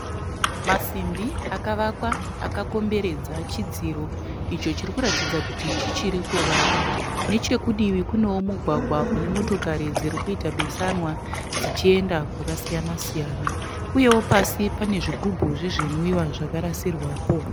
Masimbi akavakwa akakomberedza chidziro icho chiri kuratidza kuti chichiri kuvakwa. Nechekudivi kunewo mugwagwa une motokari dziri kuita besanwa dzichienda kwakasiyanasiyana. Uyewo pasi pane zvigubhu zvezvinwiwa zvakarasirwapo.